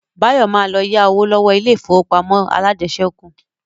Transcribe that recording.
Báyọ̀ ma lọ yá owó lọ́wọ́ ilé ìfowópamọ́ alájẹsẹ́kù